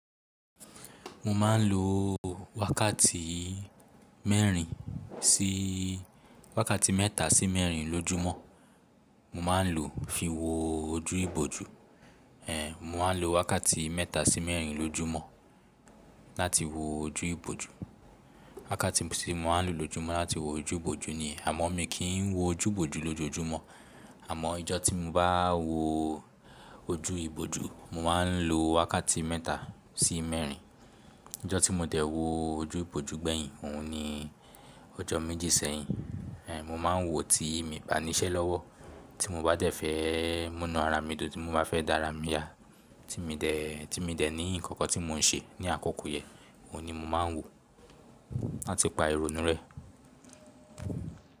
Mo ma n lo wákàtí mẹ́rin sí wákàtí mẹ́ta sí mẹ́rin lójúmọ̀. Mo ma n lo fi wo ojú ibòjú. Ehn. Mo ma n lo wákàtí mẹ́ta sí mẹ́rin lójúmọ̀ láti wo ojú ibòjú. Wákàtí tí mo ma n lo lójúmọ̀ láti wo ojú ibòjú ni àmọ́ mi kì í wo ojú ibòjú lójoojúmọ̀. Àmọ́ ijọ́ tí mo bá wo ojú ibòjú, mo ma n lo wákàtí mẹ́ta sí mẹ́rin. Ijọ́ tí mo dẹ̀ wo ojú ibòjú gbẹ̀yin, òun ni ojọ́ méjì sẹ́yìn. Ehn. Mo ma n wo tí mi bá ní iṣẹ́ lọ́wọ́, tí mo bá dẹ̀ fẹ́ múná ara mi dùn, tí mo bá fẹ́ dá ara mi yá, tí mi dẹ̀, tí mi dẹ̀ ní ǹkan kan tí mò ń ṣe ní àkókò yẹn, òun ni mo ma n wo láti pa ìrònú rẹ̀.